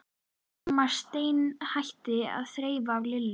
Amma steinhætti að þreifa á Lillu.